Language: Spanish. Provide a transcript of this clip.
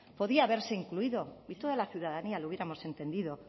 podía haberse incluido y toda la ciudadanía lo hubiéramos entendido